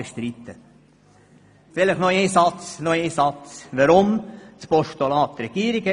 Weshalb habe ich überhaupt ein Postulat geschrieben?